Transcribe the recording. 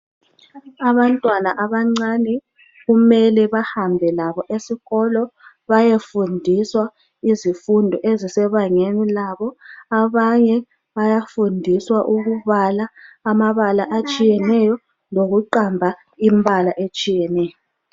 Abantwana abancane kumele bahambe labo esikolo bayafundiswa izifundo ezisebangeni labo. Abanye bayafundiswa ukubala amabala atshiyeneyo lokuqamba imbala etshiyeneyo